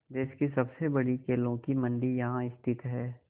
देश की सबसे बड़ी केलों की मंडी यहाँ स्थित है